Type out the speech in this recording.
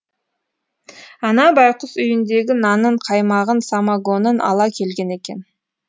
ана байқұс үйіндегі нанын қаймағын самогонын ала келген екен